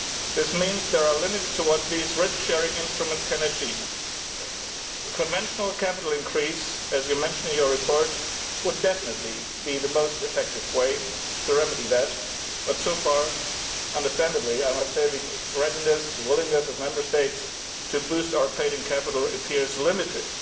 This means there are limits to what these risk sharing instruments can achieve. A conventional capital increase, as you mention in your report, would definitely be the most effective way to remedy that but so far, understandably, the readiness and willingness of Member States to boost our paid in capital appears limited.